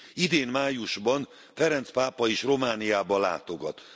Idén májusban Ferenc pápa is Romániába látogat.